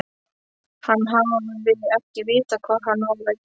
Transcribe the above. Hann hafi ekki vitað hvað hann var að gera.